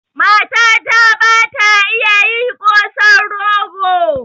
Matata ba ta iya yi kosan rogo